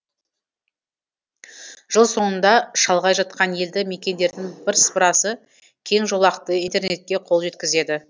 жыл соңында шалғай жатқан елді мекендердің бірсыпырасы кеңжолақты интернетке қол жеткізеді